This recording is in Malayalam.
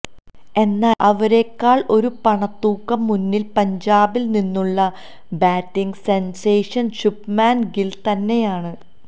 എന്നാല് അവരേക്കാള് ഒരു പണത്തൂക്കം മുന്നില് പഞ്ചാബില് നിന്നുള്ള ബാറ്റിങ് സെന്സേഷന് ശുഭ്മാന് ഗില് തന്നെയാണ്